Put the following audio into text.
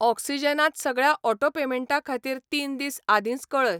Oxygen त सगळ्या auto पेमेंटां खातीर तीन दीस आदींच कऴय.